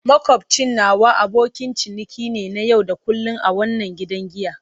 Makwabcin nawa abokin ciniki ne na yau da kullun a wannan gidan giya.